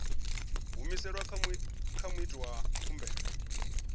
humiselwa kha muiti wa khumbelo